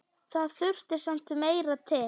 Það þurfti samt meira til.